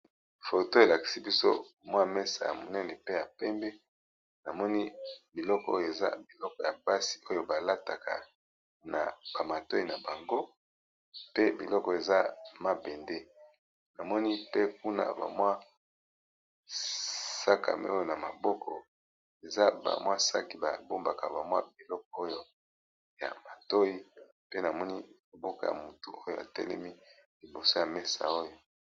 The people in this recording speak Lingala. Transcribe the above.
Foto elakisi biso mwa mesa ya monene pe ya pembe, namoni biloko eza biloko ya pasi oyo ba lataka na ba matoi na bango pe biloko eza mabende. Namoni pe kuna ba mwa sakame oyo na maboko eza ba mwa saki ba bombaka ba mwa biloko oyo ya matoi pe namoni loboko ya motu oyo atelemi liboso ya mesa oyo.